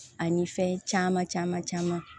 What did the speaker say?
Ani fɛn caman caman caman